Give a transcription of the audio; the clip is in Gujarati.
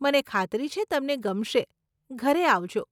મને ખાતરી છે, તમને ગમશે, ઘરે આવજો.